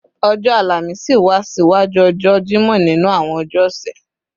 ọjọ́ Àlàmísì wá ṣiwájú ọjọ́ Jímọ̀ nínú àwọn ọjọ́ ọ̀sẹ̀